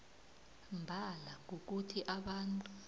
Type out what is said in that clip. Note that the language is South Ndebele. mbala kukuthi abantu